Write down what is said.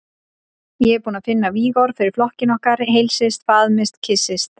Ég er búinn að finna vígorð fyrir flokkinn okkar: Heilsist, faðmist, kyssist.